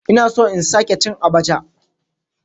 Ina so in sake cin abacha.